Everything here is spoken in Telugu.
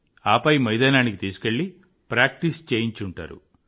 ఆపై మైదానానికి తీసుకెళ్ళి ప్రాక్టీస్ చేయించి ఉంటారు